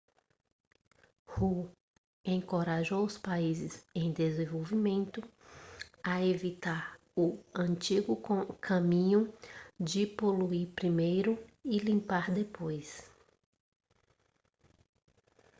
hu encorajou os países em desenvolvimento a evitar o antigo caminho de poluir primeiro e limpar depois